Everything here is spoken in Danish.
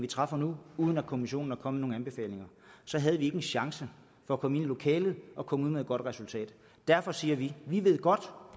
vi træffer nu uden at kommissionen er kommet med nogen anbefalinger så havde vi ikke en chance for at komme ind i lokalet og komme ud med et godt resultat derfor siger vi vi ved godt